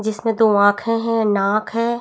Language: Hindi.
जिसमे दो आँखे है नाक है।